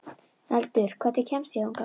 Eldur, hvernig kemst ég þangað?